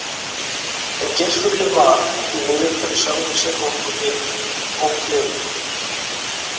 En geirfuglinn var, því miður fyrir sjálfan sig og okkur hin, ófleygur.